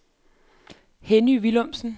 Henny Villumsen